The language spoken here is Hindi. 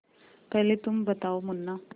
पहले तुम बताओ मुन्ना